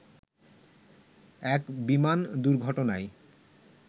এক বিমান দুর্ঘটনায়